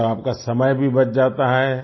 मतलब आपका समय भी बच जाता है